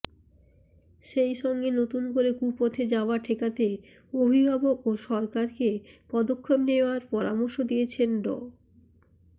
সেইসঙ্গে নতুন করে কুপথে যাওয়া ঠেকাতে অভিভাবক ও সরকারকে পদক্ষেপ নেয়ার পরামর্শ দিয়েছেন ড